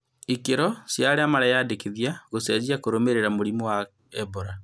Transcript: Ikĩro cia aria mareyandĩkithia gũcenjia kũrũmĩrĩra mũrimũ wa Ebora.